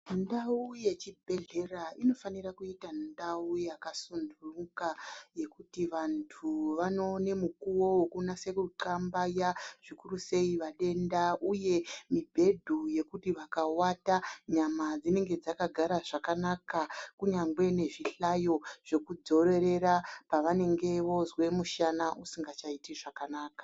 Ndau yechibhedhlera inofane kuita ndau yakasunduka kuti vantu vanowane mukuwo wokunase kutxambaya, zvikurusei vatenda, mibhedhu yekuti vakavata nyama dzinenge dzakagara zvakanaka, kunyangwe nezvihlayo zvekudzorerera pevanenge vozwa mushana usingachaiti zvakanaka.